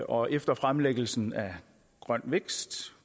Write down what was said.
og efter fremlæggelsen af grøn vækst